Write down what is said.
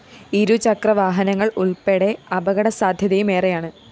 ഇരുചക്രവാഹനങ്ങള്‍ ഉള്‍പ്പെടെ അപകടസാദ്ധ്യതയും ഏറെയാണ്